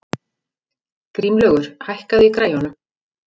Grímlaugur, hækkaðu í græjunum.